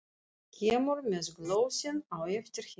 Kemur með glösin á eftir henni.